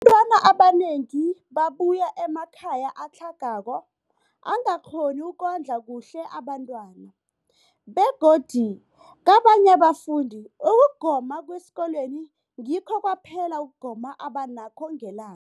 Abantwana abanengi babuya emakhaya atlhagako angakghoni ukondla kuhle abentwana, begodu kabanye abafundi, ukugoma kwesikolweni ngikho kwaphela ukugoma abanakho ngelang